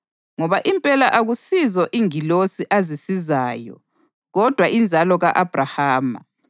Ngoba impela akusizo ingilosi azisizayo kodwa inzalo ka-Abhrahama.